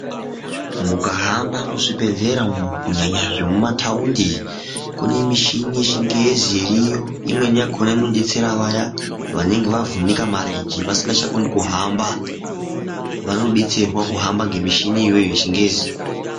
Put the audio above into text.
Mungahamba muzvibhedhlera umwu kunyanya zvemuma thaundi, kune mishini yechingezi iriyo, imweni yakhona inobetsera vaya vanenge vavhunike marenje vasingachakoni kuhamba, vanobatserwa kuhamba ngemishini iyoyo yechingezi.